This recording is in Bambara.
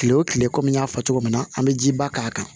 Kile wo kile kɔmi n y'a fɔ cogo min na an be ji ba k'a kan